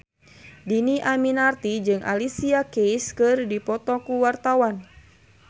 Dhini Aminarti jeung Alicia Keys keur dipoto ku wartawan